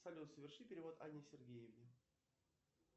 салют соверши перевод анне сергеевне